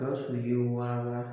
Ka sɔrɔ i bɛ wala